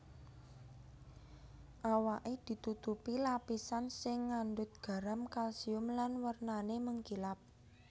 Awaké ditutupi lapisan sing ngandhut garam kalsium lan wernané mengkilap